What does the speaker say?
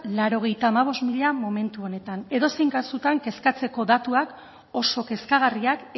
laurogeita hamabost mila momentu honetan edozein kasutan kezkatzeko datuak oso kezkagarriak